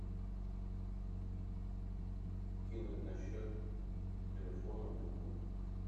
кинуть на счет телефона другу